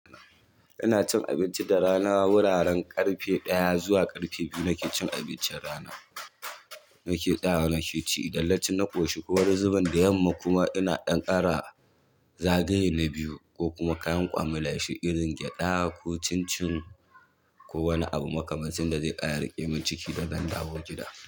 Ina cin abinci da rana, wuraren ƙarfe ɗaya zuwa ƙarfe biyu nake cin abincin rana. Nake tsayawa, nake ci idan naci na ƙoshi ko wani zubin da yamma kuma ina ɗan ƙara zagaye na biyu ko kuma kayan kwamalashi irin gyaɗa ko cin-cin ko wani abu makamanci da zai ƙara ɗime ciki da zan dawo gida.